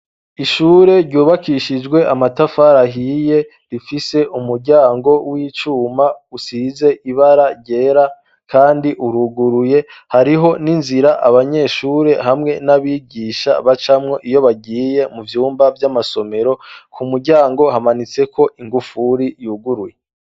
Ishure ryubakishijwe amatafari ahiye rifise umuryango w'icuma usize ibara ryera kandi uruguruye, hariho n'inzira abanyeshure hamwe n'abigisha bacamwo iyo bagiye mu vyumba by'amasomero, ku muryango hamanitse ko ingufuri yuguruye.